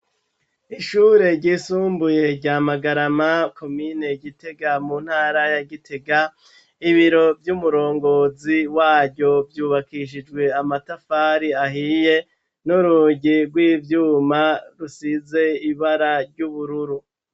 Ishure ryisumbuye rya Magarama komine Gitega mu ntara ya Gitega, ibiro vy'umurongozi waryo ryubakishijwe amatafari ahiye n'urugi rw'ivyuma rusize ibara ry'ubururu